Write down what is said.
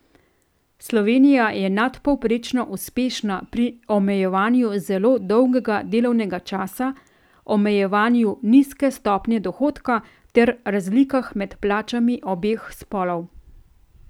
Slovenija je nadpovprečno uspešna pri omejevanju zelo dolgega delovnega časa, omejevanju nizke stopnje dohodka ter razlikah med plačami obeh spolov.